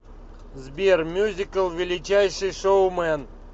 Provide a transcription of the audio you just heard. сбер мюзикл величайший шоумэн